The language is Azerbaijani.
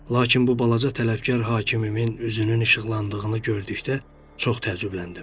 Lakin bu balaca tələbkar hakimimin üzünün işıqlandığını gördükdə çox təəccübləndim.